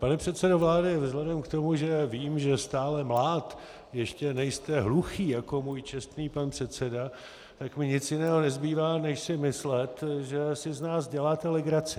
Pane předsedo vlády, vzhledem k tomu, že vím, že stále mlád ještě nejste hluchý jako můj čestný pan předseda, tak mi nic jiného nezbývá než si myslet, že si z nás děláte legraci.